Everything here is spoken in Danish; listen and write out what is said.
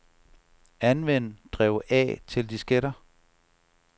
Anvend drev A til disketter.